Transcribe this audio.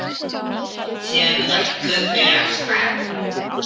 Síðan örkuðu þau af stað.